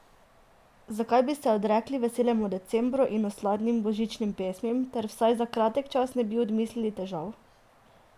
Zakaj bi se odrekli veselemu decembru in osladnim božičnim pesmim ter vsaj za kratek čas ne bi odmislili težav?